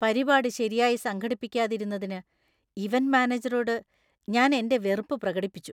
പരിപാടി ശരിയായി സംഘടിപ്പിക്കാതിരുന്നതിന് ഇവന്‍റ് മാനേജറോട് ഞാൻ എന്‍റെ വെറുപ്പ് പ്രകടിപ്പിച്ചു.